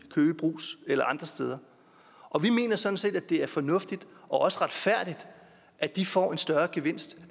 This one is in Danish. køge eller andre steder og vi mener sådan set det er fornuftigt og også retfærdigt at de får en større gevinst